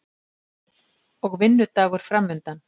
Og vinnudagur framundan.